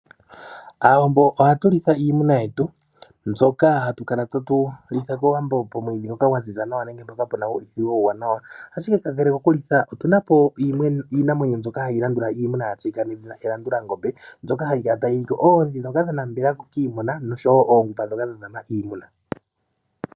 Aawambo ohatu litha iinamwenyo yetu, mbyoka hatu kala ta tu litha kOwambo pomwiidhi gwa ziza nawa nenge mpoka puna uulithilo uuwanawa. Ashike kakele kokulitha otuna po iinamwenyo mbyoka hayi landula iimuna ya tseyika nawa nedhina elandulangombe, mbyoka hayi kala tayi liko oodhi dhoka dha nambela kiimuna noshowo oongupa dhoka dha dhama iimuna.